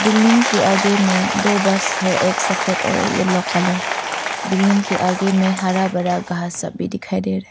Building के आगे में दो बस है एक सफेद और येलो कलर बिल्डिंग के आगे में हरा भरा घास सब भी दिखाई दे रहा है।